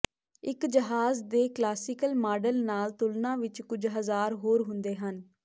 ਇੱਕ ਜਹਾਜ਼ ਦੇ ਕਲਾਸੀਕਲ ਮਾਡਲ ਨਾਲ ਤੁਲਨਾ ਵਿਚ ਕੁਝ ਹਜ਼ਾਰ ਹੋਰ ਹੁੰਦੇ ਹਨ